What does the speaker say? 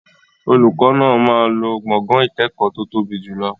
Olùkọ́ náà máa lo gbọ̀ngàn ìkẹ́kọ̀ọ́ tó tóbi jùlọ.